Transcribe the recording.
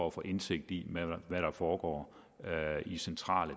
at få indsigt i hvad der foregår i centrale